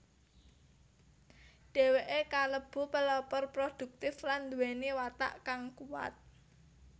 Dheweke kalebu pelopor produktif lan nduweni watak kang kuwat